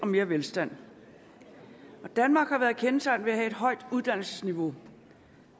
mere velstand danmark har været kendetegnet ved at have et højt uddannelsesniveau